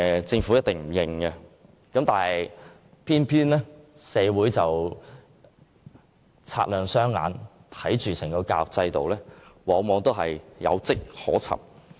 政府一定不承認這一點，但社會人士雙眼雪亮，眼見整個教育制度往往有跡可尋。